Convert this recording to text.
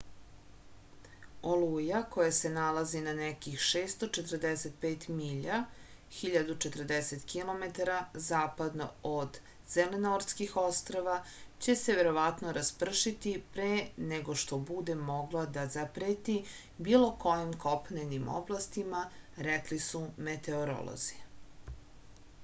олуја која се налази на неких 645 миља 1040 km западно од зеленортских острва ће се вероватно распршити пре него што буде могла да запрети било којим копненим областима рекли су метеоролози